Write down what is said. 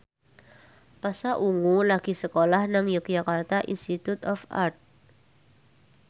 Pasha Ungu lagi sekolah nang Yogyakarta Institute of Art